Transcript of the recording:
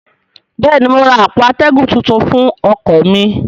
bẹ́ẹ̀ ni, mo ra àpò atẹ́gùn tuntun fún ọkọ̀ mi